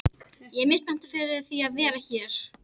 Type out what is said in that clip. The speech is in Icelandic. Ég er mjög spenntur fyrir því að vera hér.